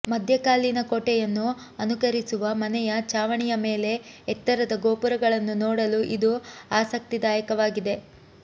ಮಧ್ಯಕಾಲೀನ ಕೋಟೆಯನ್ನು ಅನುಕರಿಸುವ ಮನೆಯ ಛಾವಣಿಯ ಮೇಲೆ ಎತ್ತರದ ಗೋಪುರಗಳನ್ನು ನೋಡಲು ಇದು ಆಸಕ್ತಿದಾಯಕವಾಗಿದೆ